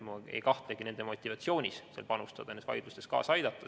Ma ei kahtlegi nende inimeste motivatsioonis panustada, nendes vaidlustes kaasa aidata.